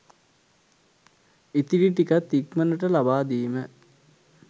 ඉතිරි ටිකත් ඉක්මනට ලබා දීම